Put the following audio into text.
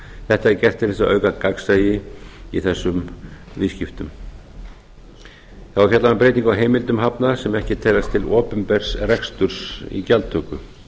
þetta er gert til að auka gagnsæi í þessum viðskiptum þá er fjallað um breytingu á heimildum hafna sem ekki teljast til opinbers reksturs í gjaldtöku